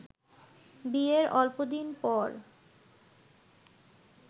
বিয়ের অল্প দিন পর